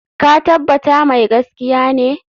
Ka tabbata mai gaskiya ne?